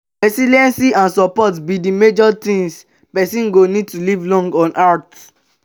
resilience and support be di major things pesin go need to live long on earth.